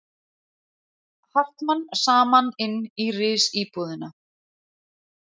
Hartmann saman inn í risíbúðina.